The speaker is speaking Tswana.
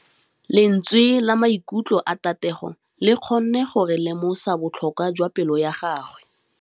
Lentswe la maikutlo a Thategô le kgonne gore re lemosa botlhoko jwa pelô ya gagwe.